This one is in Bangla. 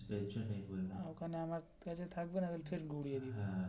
এর জন্যই বললাম ওখানে আমি থাকবেন আমি গুড়িয়ে দিবো হ্যা.